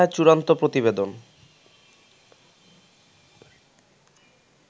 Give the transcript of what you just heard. মামলায় চূড়ান্ত প্রতিবেদন